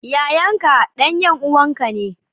Yayan ka, dan yan uwanka ne,